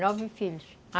Nove filhos, a